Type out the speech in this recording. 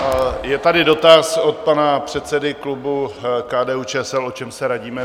Je tady dotaz od pana předsedy klubu KDU-ČSL, o čem se radíme.